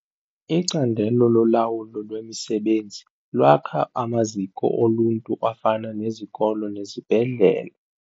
Icandelo lolawulo lwemisebenzi lakha amaziko oluntu afana nezikolo nezibhedlele.